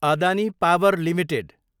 Adani power Ltd